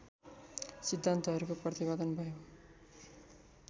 सिद्धान्तहरूको प्रतिपादन भयो